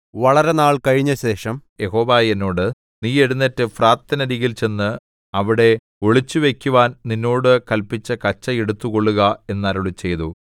വളരെനാൾ കഴിഞ്ഞശേഷം യഹോവ എന്നോട് നീ എഴുന്നേറ്റ് ഫ്രാത്തിനരികിൽ ചെന്ന് അവിടെ ഒളിച്ചുവയ്ക്കുവാൻ നിന്നോട് കല്പിച്ച കച്ച എടുത്തുകൊള്ളുക എന്നരുളിച്ചെയ്തു